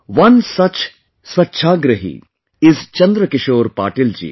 One such Swachhagrahi is Chandrakishore Patil ji